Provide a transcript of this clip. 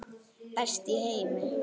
Best í heimi.